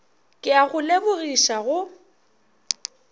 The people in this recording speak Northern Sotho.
ke a go lebogiša go